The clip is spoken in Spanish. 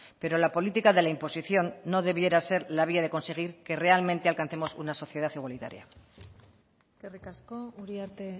pero la política de la imposición no debiera ser la vía de conseguir que realmente alcancemos una sociedad igualitaria eskerrik asko uriarte